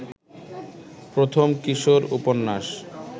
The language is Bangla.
প্রথম কিশোর উপন্যাস